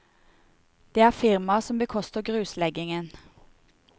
Det er firmaet som bekoster grusleggingen.